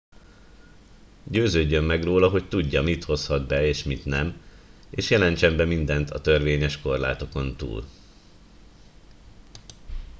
győződjön meg róla hogy tudja mit hozhat be és mit nem és jelentsen be mindent a törvényes korlátokon túl